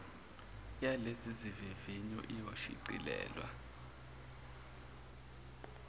yalezi zivivinyo iyoshicilelwa